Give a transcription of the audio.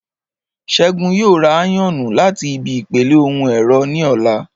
Ṣẹ́gun yóò ra áyọ̀nù láti ibi ìpele ohun ẹ̀rọ ní ọ̀la